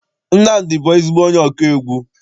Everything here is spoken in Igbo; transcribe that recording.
Nnamdi bụ ezigbo onye ọkụ egwu.